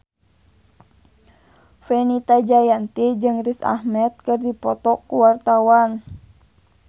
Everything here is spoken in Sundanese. Fenita Jayanti jeung Riz Ahmed keur dipoto ku wartawan